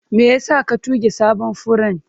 Me yasa ka tuge sabon furen?